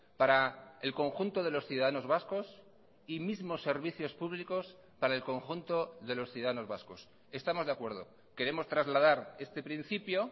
para el conjunto de los ciudadanos vascos y mismos servicios públicos para el conjunto de los ciudadanos vascos estamos de acuerdo queremos trasladar este principio